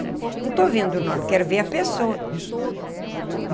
Não estou vendo o nome, quero ver a pessoa.